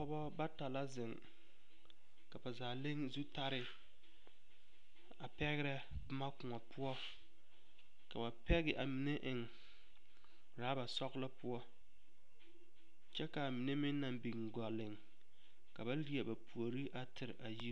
Pɔgeba bata la zeŋ ka ba zaa le zutare a pɛgrɛ boma kõɔ poɔ ka ba pɛge a mine eŋ ɔraba sɔglɔ poɔ kyɛ ka a mine meŋ naŋ biŋ gɔleŋ ka ba leɛ ba puori a tere a yiri.